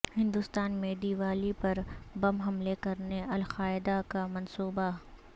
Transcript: ہندوستان میں دیوالی پر بم حملے کرنے القاعدہ کا منصوبہ